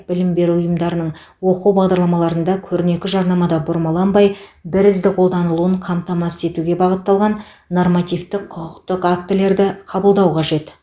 білім беру ұйымдарының оқу бағдарламаларында көрнекі жарнамада бұрмаланбай бірізді қолданылуын қамтамасыз етуге бағытталған нормативтік құқықтық актілерді қабылдау қажет